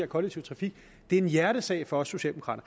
kollektiv trafik det er en hjertesag for os socialdemokrater